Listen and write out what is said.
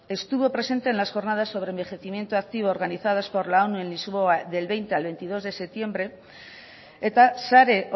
estuvo presente en las jornadas sobre envejecimiento activo organizadas por la onu en lisboa del veinte a veintidós de septiembre eta sare